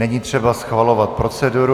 Není třeba schvalovat proceduru.